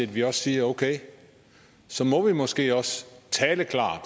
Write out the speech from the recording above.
vi også siger okay så må vi måske også tale klart